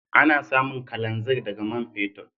Ana samun kalanzir daga man fetur.